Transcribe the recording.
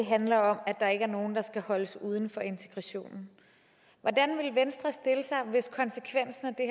handler om at der ikke er nogen der skal holdes uden for integrationen hvordan vil venstre stille sig hvis konsekvensen af det